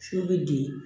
Fiyewu bɛ den